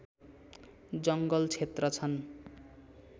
जङ्गल क्षेत्र छन्